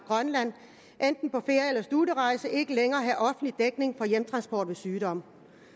grønland enten på ferie studierejse ikke længere have offentlig dækning for hjemtransport ved sygdom